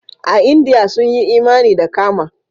A Indiya kuma sun yi imani da karma.